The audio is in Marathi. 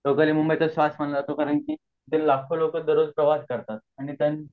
कारण कि तिथे लाखो लोक प्रवास करतात आणि